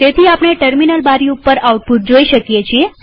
તેથી આપણે ટર્મિનલ બારી ઉપર આઉટપુટ જોઈ શકીએ છીએ